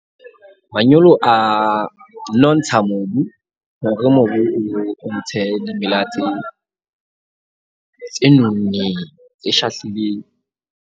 Manyolo a nontsha mobu hore mobu o ntshe dimela tse nonneng, tse shahlileng.